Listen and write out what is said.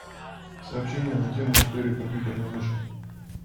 сообщение на тему история компьютерной мыши